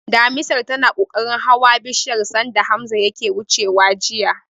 Damisar tana kokarin hawa bishiyar sanda Hamza yake wucewa jiya.